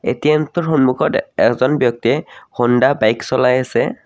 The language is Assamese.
এ_টি_এম টোৰ সম্মুখত এজন ব্যক্তিয়ে হোণ্ডা বাইক চলায় আছে।